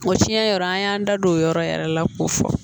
O fiɲɛ yɔrɔ an y'an da don o yɔrɔ yɛrɛ la k'o fɔ